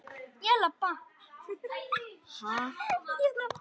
Ég labba.